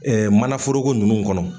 mana foroko nunnu kɔnɔ.